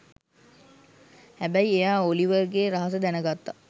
හැබැයි එයා ඔලිවර්ගේ රහස දැනගත්ත